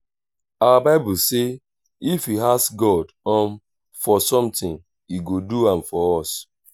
our bible say if we ask god um for something he go do am for us